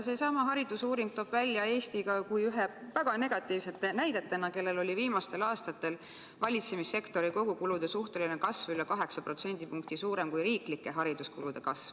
Seesama haridusuuring toob Eesti välja ka kui ühe väga negatiivse näite riigist, kelle valitsemissektori kogukulude suhteline kasv on viimastel aastatel olnud üle 8% suurem kui riiklike hariduskulude kasv.